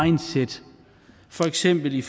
mindset for eksempel i